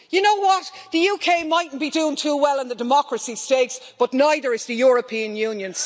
You know what the UK might not be doing too well in the democracy stakes, but neither is the European Union.